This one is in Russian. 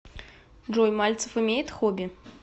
джой мальцев имеет хобби